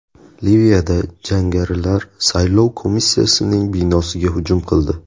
Liviyada jangarilar saylov komissiyasining binosiga hujum qildi.